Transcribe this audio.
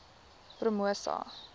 promosa